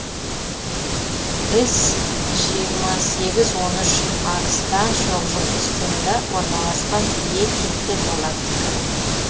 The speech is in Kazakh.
іс жиырма сегіз он үш арыстан шоқжұлдызында орналасқан е типті галактика